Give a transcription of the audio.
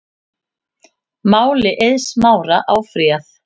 Máli Eiðs Smára áfrýjað